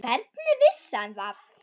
Hvernig vissi hann það?